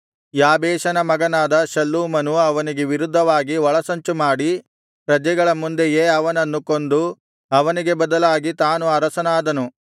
ಯಾಬೇಷನ ಮಗನಾದ ಶಲ್ಲೂಮನು ಅವನಿಗೆ ವಿರುದ್ಧವಾಗಿ ಒಳಸಂಚುಮಾಡಿ ಪ್ರಜೆಗಳ ಮುಂದೆಯೇ ಅವನನ್ನು ಕೊಂದು ಅವನಿಗೆ ಬದಲಾಗಿ ತಾನು ಅರಸನಾದನು